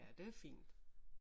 Ja det er fint